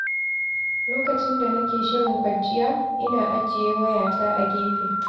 Lokacin da nake shirin kwanciya, ina ajiye wayata a gefe.